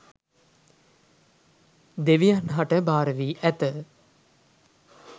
දෙවියන් හට භාර වී ඇත